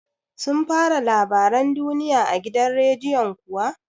Sun fara labaran duniya a gidan rediyon kuwa?